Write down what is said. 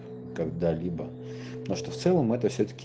когда либо но что в целом это все таки